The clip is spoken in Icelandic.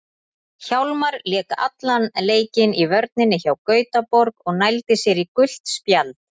Hjálmar lék allan leikinn í vörninni hjá Gautaborg og nældi sér í gult spjald.